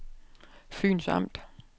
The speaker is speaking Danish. Fyns Amt